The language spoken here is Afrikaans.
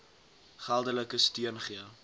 geldelike steun gee